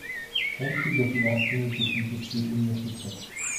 омский государственный технический университет